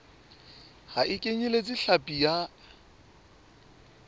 ha e kenyeletse hlapi ya